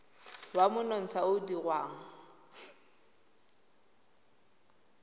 wa monontsha o o dirwang